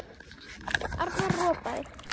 Arnar ropaði.